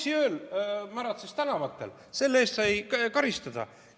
Isikule, kes pronksiööl märatses tänavatel ja sai selle eest karistada.